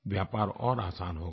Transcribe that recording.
व्यापार और आसान हो गया